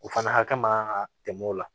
O fana hakɛ ma kan ka tɛmɛ o la